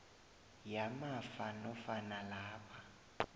yamafa nofana lapha